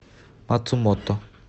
мацумото